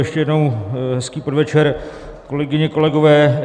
Ještě jednou hezký podvečer, kolegyně, kolegové.